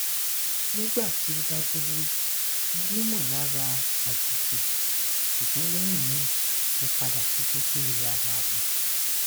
nigba ti o daduro monimolara ajoji sugbon lehina mo pada si dede ara mi